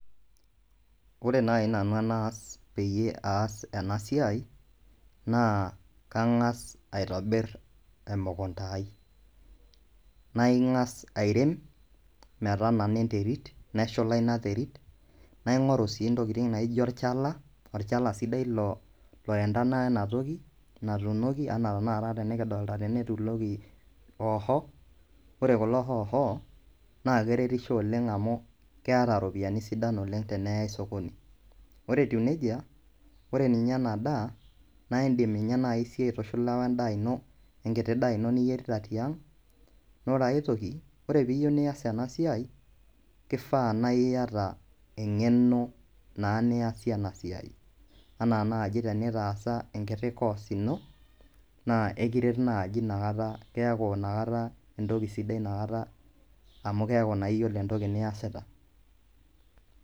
Ore nai nanu enaas peyie aas enasiai, naa, kang'as aitobir emukunda ai. Kang'as airem, metanana enterit, neshula ina terit, naing'oru si ntokiting naijo olchala, olchala sidai loyendana enatoki natuunoki, enaa tanakata tenikidolta tene etuunoki hoho, ore kulo hoho, naa keretisho oleng amu keeta ropiyaiani sidan oleng tenai sokoni. Ore etiu nejia, ore ninye enadaa, naa idim inye nai siyie aitushula wendaa ino, enkiti daa ino niyierita tiang',nore ai toki, ore piyieu nias enasiai, kifaa naiyata eng'eno naa niasie enasiai. Enaa naji tenitaasa enkiti course ino, na ekiret naji inakata, keeku inakata entoki sidai nakata amu keeku naa iyiolo entoki niasita.